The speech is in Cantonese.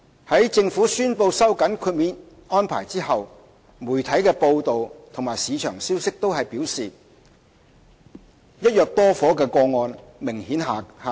在政府宣布收緊豁免安排後，媒體的報道和市場消息均表示"一約多伙"的個案數目明顯下跌。